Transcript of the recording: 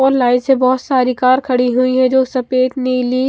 और लाइन से बहुत सारी कार खड़ी हुई हैं जो सफ़ेद नीली--